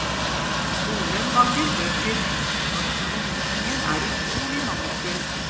Skolen mangler bøker, norskundervisningen er utrolig mangelfull.